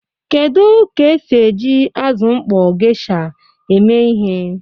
Kedu ka esi eji azụ mkpọ geisha eme ihe?